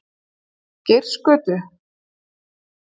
Geirsgötu